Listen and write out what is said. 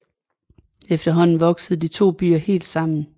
Efterhånden voksede de to byer helt sammen